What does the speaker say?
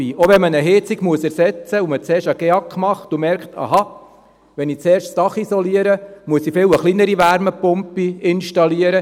Auch wenn man eine Heizung ersetzen muss und zuerst einen GEAK macht und merkt, «Aha, wenn ich zuerst das Dach isoliere, muss ich eine viel kleinere Wärmepumpe installieren!